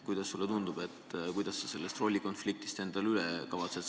Kuidas sulle tundub, kuidas sa sellest rollikonfliktist üle saad?